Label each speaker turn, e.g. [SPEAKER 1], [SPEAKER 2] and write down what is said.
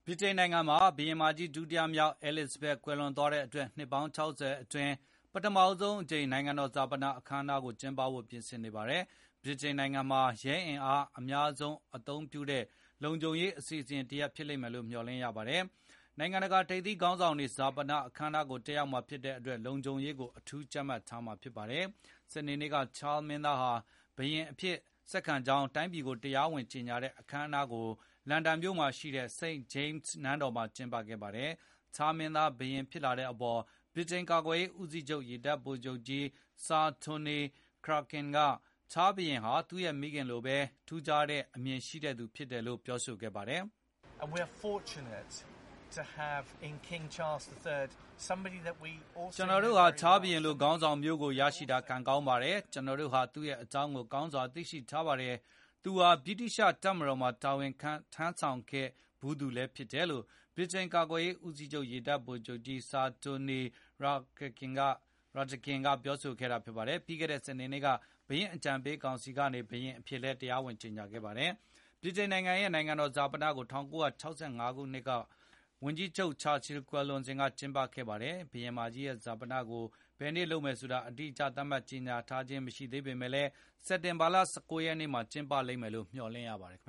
[SPEAKER 1] ဗြိတိန်နိုင်ငံမှာ ဘုရင်မကြီး ဒုတိယမြောက် Elizabeth ကွယ်လွန်သွားတဲ့အတွက် နှစ်ပေါင်း ၆၀ အတွင်း ပထမဆုံးအကြိမ် နိုင်ငံတော်ဈာပနအခမ်းအနားကို ကျင်းပဖို့ ပြင်ဆင်နေပါတယ်။ ဗြိတိန်သမိုင်းမှာ ရဲအင်အားအများဆုံး အသုံးပြုတဲ့လုံခြုံရေး အစီအစဉ်တရပ် ဖြစ်လိမ့်မယ်လို့ မျှော်လင့်ရပါတယ်။ နိုင်ငံတကာ ထိပ်သီးခေါင်းဆောင်တွေ ဈာပနအခမ်းအနားကို တက်ရောက်မှာဖြစ်တဲ့အတွက် လုံခြုံရေးကို အထူးကြပ်မတ်ထားမှာ ဖြစ်ပါတယ်။ စနေနေ့က ချားမင်းသားဟာ ဘုရင်အဖြစ် ဆက်ခံကြောင်း တိုင်းပြည်ကို တရားဝင် ကြေညာတဲ့ အခမ်းအနားကို လန်ဒန်မြို့ မှာရှိတဲ့ St.James နန်းတော်မှာ ကျင်းပခဲ့ပါတယ်။ ချားမင်းသား ဘုရင်ဖြစ်လာတဲ့အပေါ်ဗြိတိန်ကာကွယ်ရေး ဦးစီးချုပ် ရေတပ်ဗိုလ်ချုပ်ကြီး Sir Tony Rakakin က ချားဘုရင်ဟာ သူရဲ့မိခင်လိုပဲ ထူးချွန်တဲ့အမြင် ရှိသူဖြစ်တယ်လို့ ပြောဆိုပါတယ်။
[SPEAKER 2] “ကျနော်တို့ဟာ
[SPEAKER 1] ချားဘုရင်လို ခေါင်းဆောင်မျိုးကို ရရှိတာ ကံကောင်းပါတယ်။ ကျနော်တို့ဟာ သူရဲ့အကြောင်းကို ကောင်းကောင်း သိရှိထားပါတယ်။ သူဟာ ဗြိတိသျှ တပ်မတော်မှာ တာဝန်ထမ်းဆောင်ခဲ့သူလည်း ဖြစ်ပါတယ်လို”့ ဗြိတိန်ကာကွယ်ရေး ဦးစီးချုပ် ရေတပ် ဗိုလ်ချုပ်ကြီး Sir Tony Radakin ကပြောဆိုခဲ့ပါတယ်။ ပြီးခဲ့တဲ့ စနေနေ့က ဘုရင့်အကြံပေးကောင်စီကနေ ဘုရင်အဖြစ်တရားဝင်ကြေညာခဲ့ပါတယ်။ ဗြိတိန်ရဲ့ နိုင်ငံတော် ဈာပနကို ၁၉၆၅ ခုနှစ် ဝန်ကြီးချုပ် ချာချီ ကွယ်လွန်စဉ် က ကျင်းပခဲ့ပါတယ်။ ဘုရင်မကြီးရဲ့ဈာပနကို ဘယ်နေ့လုပ်မယ်လို့ အတိအကျ သတ်မှတ်ကြောညာခြင်း မရှိသေးပေမယ့်လည်း စက်တင်ဘာ ၁၉ ရက်နေ့မှာ ကျင်းပလိမ်မယ်လို့ မျှော်လင့်ရပါတယ်။